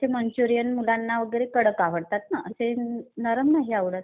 असे मंचुरीयन मुलांना वगैरे कडक आवडतात ना. ते नरम नाही आवडत.